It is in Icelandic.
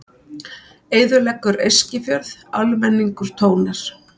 Eyðileggur Eskifjörð, almenningur tónar